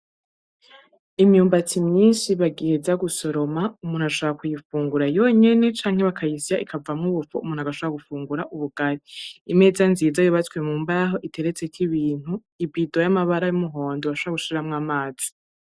Imyumbati myinshi bagiheza gusoroma, umuntu ashobora kuyifungura yonyene canke bakayisya ikavamwo ubufu umuntu agashobora gufungura ubugari. Imeza nziza yubatswe mu mbaho iteretseko ibintu, ibido y'amabara y'umuhondo urashobora gushiramwo amazi.